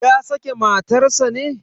Ya sake matar sa ne?